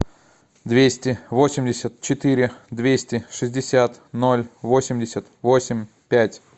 двести восемьдесят четыре двести шестьдесят ноль восемьдесят восемь пять